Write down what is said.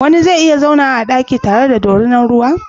Wani zai iya zauna a daki tare da dorinar ruwa?